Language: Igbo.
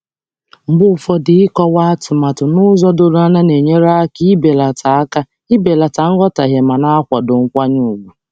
Mgbe ụfọdụ, ịkọwa iwu nke ọma na-ebelata nghọtahie ma na-edobe nkwanye ùgwù.